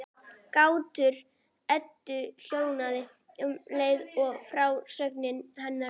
Grátur Eddu hljóðnaði um leið og frásögn hennar lauk.